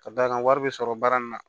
Ka d'a kan wari bɛ sɔrɔ baara nin na